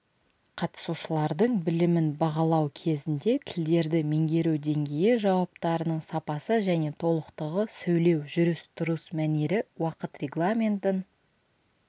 қатысушылардың білімін бағалау кезінде тілдерді меңгеру деңгейі жауаптарының сапасы және толықтығы сөйлеу жүріс-тұрыс мәнері уақыт регламентін